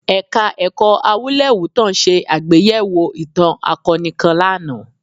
Ẹ̀ka-ẹ̀kọ́ Awúlẹ̀wútàn ṣe àgbéyẹ̀wò ìtàn akọni kan lánàá